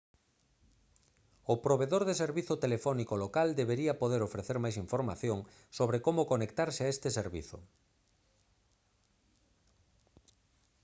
o provedor de servizo telefónico local debería poder ofrecer máis información sobre como conectarse a este servizo